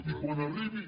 i quan arribi